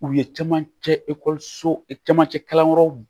U ye camancɛ ekɔlisow e camancɛ kalanyɔrɔw